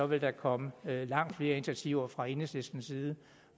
vil der komme langt flere initiativer fra enhedslistens side